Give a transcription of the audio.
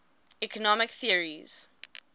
economic theories